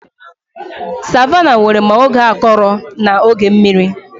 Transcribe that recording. Savannahs nwere ma oge akọrọ na oge mmiri